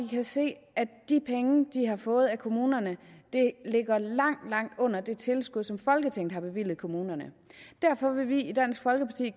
kan se at de penge de har fået af kommunerne ligger langt langt under det tilskud som folketinget har bevilget kommunerne derfor vil vi i dansk folkeparti